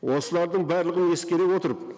осылардың барлығын ескере отырып